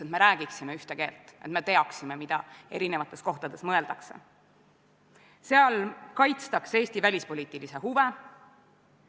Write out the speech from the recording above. Läheme tänase päevakorra juurde ja selleks on väliskomisjoni esitatud Riigikogu otsuse "Riigikogu otsuse "Põhja-Atlandi Lepingu Organisatsiooni Parlamentaarse Assamblee Eesti delegatsiooni moodustamine" muutmine" eelnõu 85 esimene lugemine.